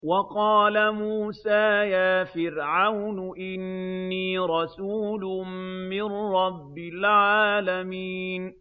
وَقَالَ مُوسَىٰ يَا فِرْعَوْنُ إِنِّي رَسُولٌ مِّن رَّبِّ الْعَالَمِينَ